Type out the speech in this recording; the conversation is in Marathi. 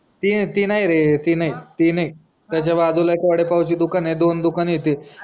ती नाही रे ती नाही. त्याच्या बाजूला एक वडा पावचा दुकान आहे दोन दुकानं आहे ते